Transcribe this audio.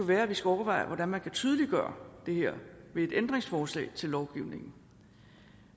være at vi skulle overveje hvordan man kan tydeliggøre det her ved et ændringsforslag til lovgivningen